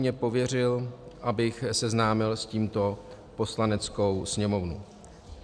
Mě pověřil, abych seznámil s tímto Poslaneckou sněmovnu.